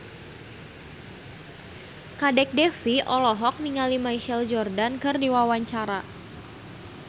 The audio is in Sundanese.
Kadek Devi olohok ningali Michael Jordan keur diwawancara